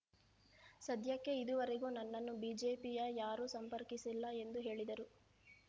ಸದ್ಯಕ್ಕೆ ಇದುವರೆಗೂ ನನ್ನನ್ನು ಬಿಜೆಪಿಯ ಯಾರು ಸಂಪರ್ಕಿಸಿಲ್ಲ ಎಂದು ಹೇಳಿದರು